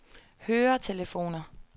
høretelefoner